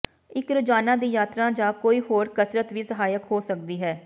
ਇੱਕ ਰੋਜ਼ਾਨਾ ਦੀ ਯਾਤਰਾ ਜਾਂ ਕੋਈ ਹੋਰ ਕਸਰਤ ਵੀ ਸਹਾਇਕ ਹੋ ਸਕਦੀ ਹੈ